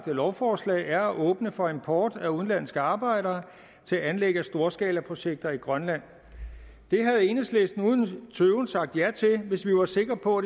lovforslag er at åbne for import af udenlandske arbejdere til anlæg af storskalaprojekter i grønland det havde enhedslisten uden tøven sagt ja til hvis vi var sikre på